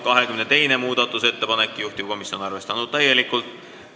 22. muudatusettepanek, juhtivkomisjon on täielikult arvestanud.